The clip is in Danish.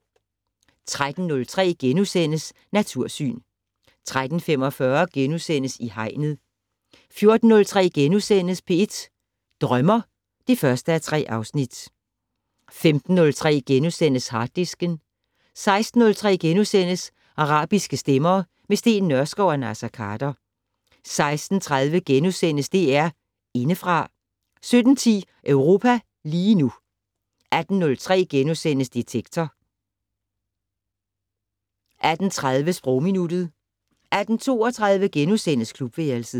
13:03: Natursyn * 13:45: I Hegnet * 14:03: P1 Drømmer (1:3)* 15:03: Harddisken * 16:03: Arabiske stemmer - med Steen Nørskov og Naser Khader * 16:30: DR Indefra * 17:10: Europa lige nu 18:03: Detektor * 18:30: Sprogminuttet 18:32: Klubværelset *